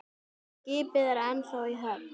Skipið er ennþá í höfn.